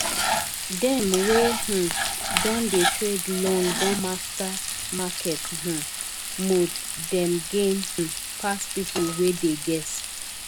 dem wey um don dey trade long don master market um mood dem gain um pass people wey dey guess